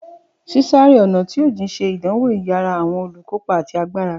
Ṣiṣe-ọna jijin ṣe idanwo iyara awọn olukopa ati agbara.